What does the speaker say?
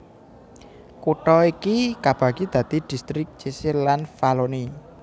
Kutha iki kabagi dadi distrik Cese lan Valloni